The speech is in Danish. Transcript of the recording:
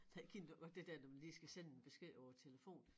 Det kender du godt det der når man lige skal sende en besked over æ telefon